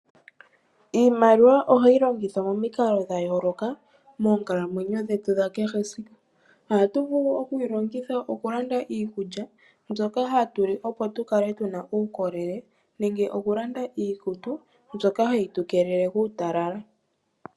Iimaliwa ohayi longithwa momikalo dha yooloka, moonkalamwenyo dhetu dha kehe esiku. Ohatu vulu oku yi longitha okulanda iikulya mbyoka hatu li, opo tu kale tu na uukolele, nenge okulanda iikutu, mbyoka ha yi tu keelele kuutalala.